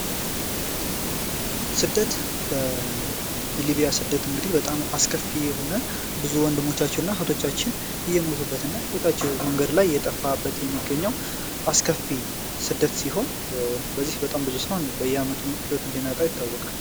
ስደት በሊቢያ ስደት እንግዲ በጣም አስከፊ የሆነ ብዙ ወንድሞቻችው እህቶቻችን እየሞቶበት እና ህይወታችው መንገድ ላይ የጠፋበት የሚገኘው አስከፊ ስደት ሲሆን በዚህ በጣም ብዙ ሆን በየመት ሕይወት እንደሚያጣይ ይታወቃል።